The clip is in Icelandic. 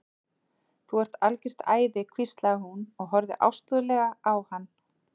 Þú ert algjört æði hvíslaði hún og horfði ástúðlega á hann.